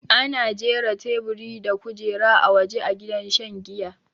Ana jira taiburi da kujera a waja a gidan shan jiya